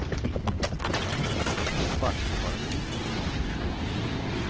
Jag tror faktiskt vi har en hit på gång. punkt